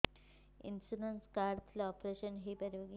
insurance card ଥିଲେ operation ହେଇପାରିବ କି